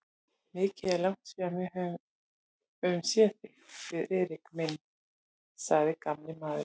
Mikið er langt síðan við höfum séð þig, Friðrik minn sagði gamli maðurinn.